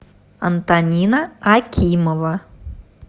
антонина акимова